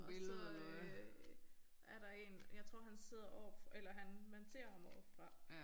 Og så øh er der én jeg tror han sidder oppe eller han man ser ham oppefra